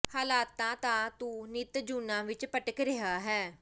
ਹਾਲੇ ਤਾਂ ਤੂੰ ਨਿੱਤ ਜੂਨਾਂ ਵਿੱਚ ਭਟਕ ਰਿਹਾ ਹੈਂ